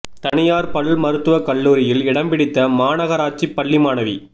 தனியாா் பல் மருத்துவக் கல்லூரியில் இடம் பிடித்த மாநகராட்சிப் பள்ளி மாணவி